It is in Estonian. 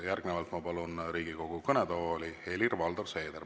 Järgnevalt ma palun Riigikogu kõnetooli Helir-Valdor Seederi.